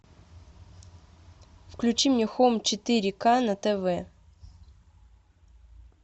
включи мне хом четыре к на тв